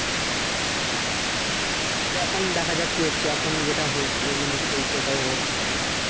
হু সেটাই তো এখন দেখা যাক কি হচ্ছে এখন যেটা হলছে মানে চলছে এটাই হোক বুঝলা